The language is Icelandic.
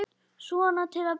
Svona til að byrja með.